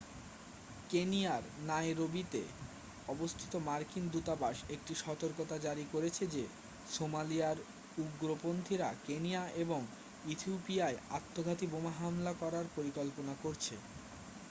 কেনিয়ার নাইরোবিতে অবস্থিত মার্কিন দূতাবাস একটি সতর্কতা জারি করেছে যে সোমালিয়ার উগ্রপন্থীরা কেনিয়া এবং ইথিওপিয়ায় আত্মঘাতী বোমা হামলা করার পরিকল্পনা করছে